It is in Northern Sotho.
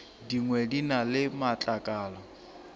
dingwe di na le matlakala